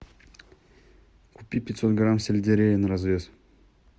купи пятьсот грамм сельдерея на развес